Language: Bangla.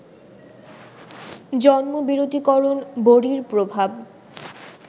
জন্মবিরতীকরণ বড়ির প্রভাব